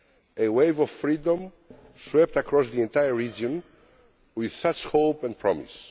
A wave of freedom swept across the entire region, with such hope and promise.